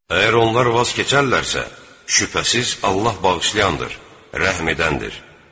Əgər onlar vaz keçərlərsə, şübhəsiz Allah bağışlayandır, rəhm edəndir.